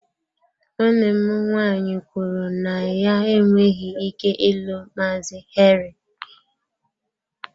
Nwanne m nwaanyị kwuru na ya enweghị ike ịlụ Maazị Henry.